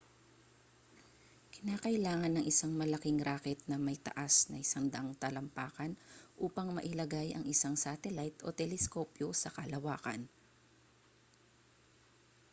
kinakailangan ng isang malaking rocket na may taas na 100 talampakan upang mailagay ang isang satellite o teleskopyo sa kalawakan